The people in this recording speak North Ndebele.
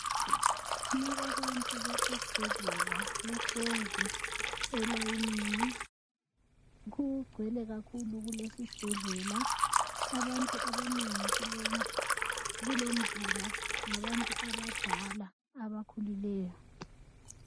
Lababantu basesibhedlela bahlezi elayinini kugcwele kakhulu kulesisibhedlela .Abantu abanengi kulomzila ngabantu abadala abakhulileyo .